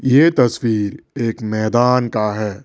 ये तस्वीर एक मैदान का है।